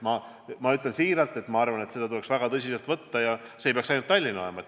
Ma arvan siiralt, et seda tuleks väga tõsiselt võtta ja seda mitte ainult Tallinnas.